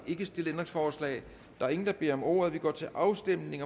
ikke stillet ændringsforslag der er ingen der beder om ordet og vi går til afstemning